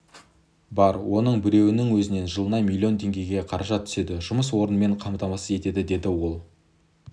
бар оның біреуінің өзінен жылына миллион теңге қаражат түседі жұмыс орнымен қамтамасыз етеді деді ол